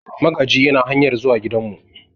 Magaji yana hanyar zuwa gidanmu.